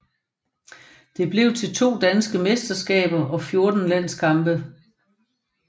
Det blev til to danske mesterskaber og 14 landskampe